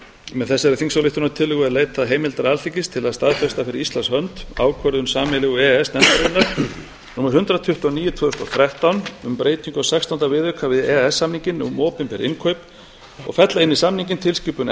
með þessari þingsályktunartillögu er leitað heimildar alþingis til staðfesta fyrir íslands hönd ákvörðun sameiginlegu e e s nefndarinnar númer hundrað tuttugu og níu tvö þúsund og þrettán um breytingu á sextánda viðauka við e e s samninginn um opinber innkaup og fella inn í samninginn tilskipun